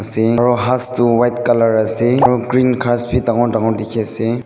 singro hastu white colour ase aru green ghass bi dangor dangor dekhi ase.